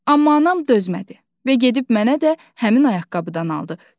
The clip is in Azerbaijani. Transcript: Amma anam dözmədi və gedib mənə də həmin ayaqqabıdan aldı.